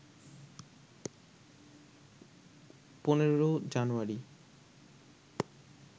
১৫ জানুয়ারি